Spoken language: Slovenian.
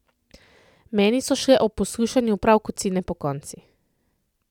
Meni so šle ob poslušanju prav kocine pokonci.